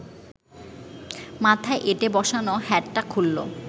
মাথায় এঁটে বসানো হ্যাটটা খুলল